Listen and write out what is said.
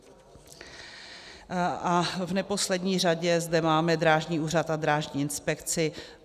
A v neposlední řadě zde máme Drážní úřad a Drážní inspekci.